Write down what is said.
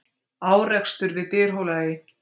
Árekstur við Dyrhólaey